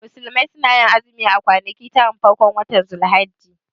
Musulmai sunayin azumi a kwanaki taran farkon watan dhul hijja